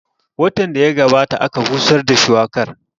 Watan da ya gabata aka busar da shuwakar